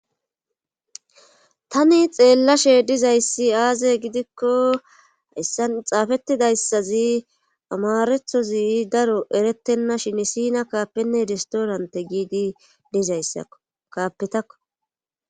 tani xeellashe dizayssi aaze gidikko yssan xaafettidayssazi amarethozi daro erettenna shini sina kaapenne idestoorante giidi dizayssakaapetakko